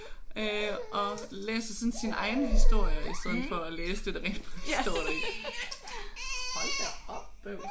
Øh og læser sådan sine egne historier i stedet for at læse det der rent faktisk står deri. Hold da op bøvs